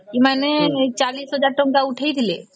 ଏମାନେ ଚାଳିଶ ହଜାର ଟଙ୍କା ଉଠାଇଥିଲେ